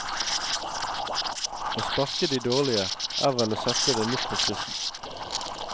Å sparke de dårlige er vel å sette det litt på spissen.